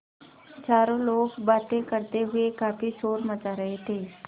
चारों लोग बातें करते हुए काफ़ी शोर मचा रहे थे